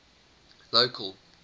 local